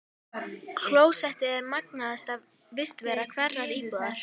Klósettið er magnaðasta vistarvera hverrar íbúðar.